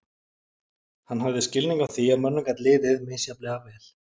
Hann hafði skilning á því að mönnum gat liðið misjafnlega vel.